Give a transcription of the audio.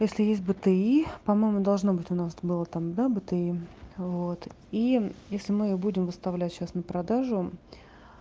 если есть бти по-моему должно быть у нас было там да бти вот и если мы будем выставлять сейчас на продажу